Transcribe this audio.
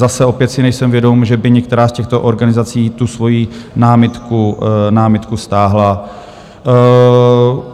Zase opět si nejsem vědom, že by některá z těchto organizací tu svoji námitku stáhla.